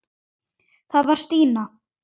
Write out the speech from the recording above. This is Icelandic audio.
Það var Stína.